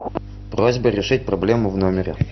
просьба решить проблему в номере